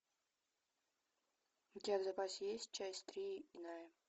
у тебя в запасе есть часть три иная